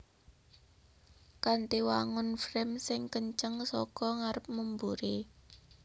Kanthi wangun frame sing kenceng saka ngarep memburi